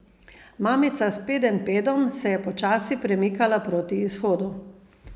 Mamica s pedenjpedom se je počasi premikala proti izhodu.